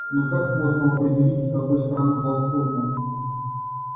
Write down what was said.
но как можно определить с какой стороны платформа